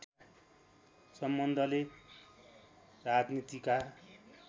सम्बन्धले राजनीतिका